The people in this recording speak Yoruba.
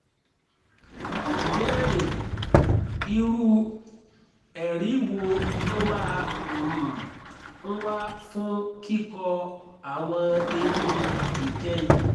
ìbéèrè: irú ẹ̀rí wo ló máa um ń wà fún kíkọ́ àwọn eyín ìkẹyìn?